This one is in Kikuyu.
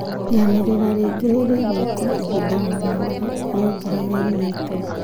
Rĩanĩrĩra rĩngi nĩrĩgwĩkwo ĩbida o riothe, nĩongerere united